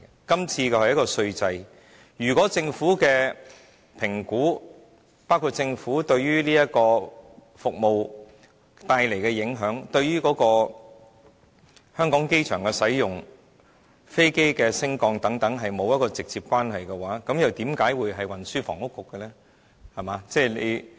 今次討論的是稅制，如果政府的評估，包括此服務帶來的影響、香港機場的使用、飛機升降等與該局是沒有一個直接關係的話，為何會是運輸及房屋局負責的範疇呢？